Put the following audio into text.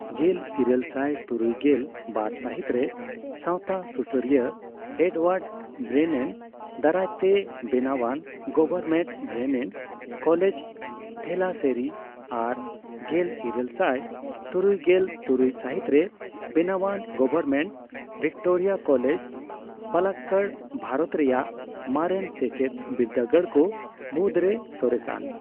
ᱜᱮᱞ ᱤᱨᱟᱹᱞ ᱥᱟᱭ ᱛᱩᱨᱩᱭᱜᱮᱞ ᱵᱟᱨ ᱥᱟᱹᱦᱤᱛ ᱨᱮ ᱥᱟᱣᱛᱟ ᱥᱩᱥᱟᱹᱨᱤᱭᱟᱹ ᱮᱰᱼᱳᱣᱟᱨᱰ ᱵᱨᱮᱱᱮᱱ ᱫᱟᱨᱟᱭ ᱛᱮ ᱵᱮᱱᱟᱣᱟᱱ ᱜᱚᱵᱷᱚᱨᱢᱮᱱᱴ ᱵᱨᱮᱱᱮᱱ ᱠᱚᱞᱮᱡᱽ, ᱛᱷᱮᱞᱟᱥᱮᱨᱤ ᱟᱨ ᱜᱮᱞ ᱤᱨᱟᱹᱞ ᱥᱟᱭ ᱛᱩᱨᱩᱭᱜᱮᱞ ᱛᱩᱨᱩᱭ ᱥᱟᱹᱦᱤᱛ ᱨᱮ ᱵᱮᱱᱟᱣᱟᱱ government Victoria college, Palakkad, Bharat ᱨᱮᱭᱟᱜ ᱢᱟᱨᱮᱱ ᱥᱮᱪᱮᱫ ᱵᱤᱨᱫᱟᱹᱜᱟᱲ ᱠᱚ ᱢᱩᱫᱽ ᱨᱮ ᱥᱚᱨᱮᱥᱟᱱ ᱾